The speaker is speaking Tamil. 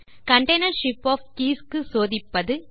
container ஷிப் ஒஃப் கீஸ் க்கு சோதிப்பது